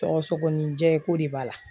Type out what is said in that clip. Sɔgɔsɔgɔninjɛ k'o de b'a la